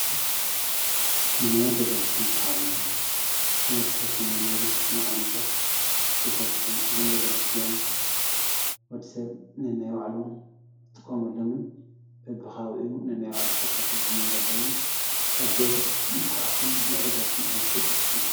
መንበሪ ገዛ ዝበሃሉ ንወድሰብ ከም መንበሪ ዝጠቅሙ ዓይነታት ገዛዉቲ እዮም:: ወዲሰብ ነናይ ባዕሉ ዝጥቀመሎምን በቢ ከባቢኡ ነናይ ባዕሉ ተከፋፊሉ ዝነብረሎም አዝዮም ምልኩዓትን ምዕሩጋትን ዓይነት ገዛዉቲ እዮም ።